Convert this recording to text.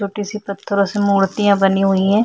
छोटी सी पत्थरों से मूर्तियां बनी हुई है।